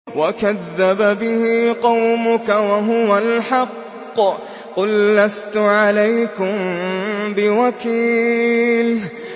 وَكَذَّبَ بِهِ قَوْمُكَ وَهُوَ الْحَقُّ ۚ قُل لَّسْتُ عَلَيْكُم بِوَكِيلٍ